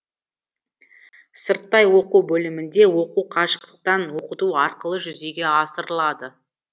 сырттай оқу бөлімінде оқу қашықтықтан оқыту арқылы жүзеге асырылады